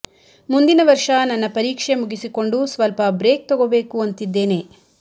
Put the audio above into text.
ಮುಂದಿನ ವರ್ಷ ನನ್ನ ಪರೀಕ್ಷೆ ಮುಗಿಸಿಕೊಂಡು ಸ್ವಲ್ಪ ಬ್ರೇಕ್ ತಗೋಬೇಕು ಅಂತಿದ್ದೇನೆ